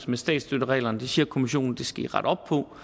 med statsstøttereglerne det siger kommissionen at vi skal rette op på